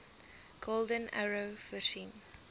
golden arrow voorsien